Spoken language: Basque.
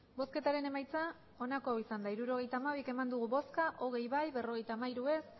hirurogeita hamabi eman dugu bozka hogei bai berrogeita hamairu ez